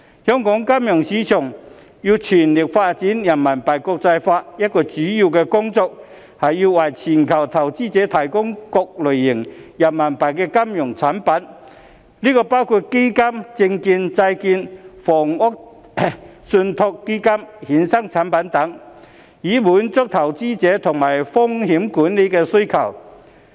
香港金融市場要全力發展人民幣國際化，一項主要工作是要為全球投資者提供各類型的人民幣金融產品，包括基金、證券、債券、房地產信託基金、衍生產品等，以滿足投資者及風險管理的需求。